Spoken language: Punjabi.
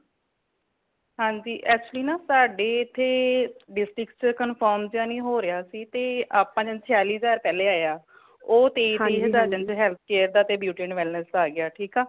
ਹਾਂਜੀ actually ਨਾ ਸਾਡੇ ਐਥੈ district ਚ confirm ਤੇ ਨਹੀਂ ਹੋਰਿਆਂ ਸੀ ਤੇ ਆਪਾ ਨੂੰ ਛਯਾਲਿਹਜਾਰ ਪਹਿਲੇ ਆਯਾ ਉਹ ਤੇ health care ਤੇ beauty awareness ਦਾ ਆਗਿਆ ਠੀਕ ਆ